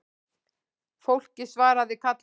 Fólkið svaraði kallinu